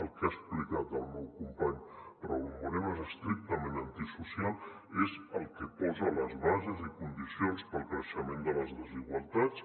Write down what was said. el que ha explicat el meu company raúl moreno és estrictament antisocial és el que posa les bases i condicions per al creixement de les desigualtats